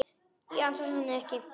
Ég ansa henni ekki.